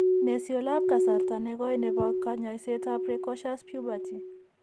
Ne syoolap kasarta ne koii ne po kanyoisietap precocious puberty?